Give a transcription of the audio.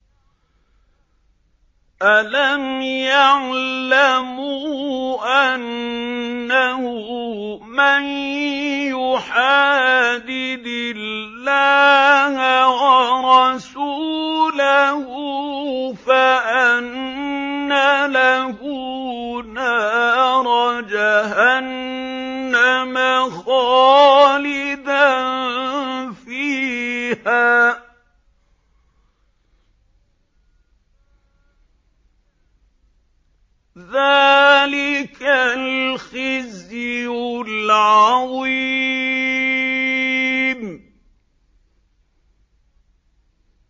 أَلَمْ يَعْلَمُوا أَنَّهُ مَن يُحَادِدِ اللَّهَ وَرَسُولَهُ فَأَنَّ لَهُ نَارَ جَهَنَّمَ خَالِدًا فِيهَا ۚ ذَٰلِكَ الْخِزْيُ الْعَظِيمُ